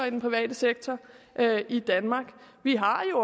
i den private sektor i danmark vi har jo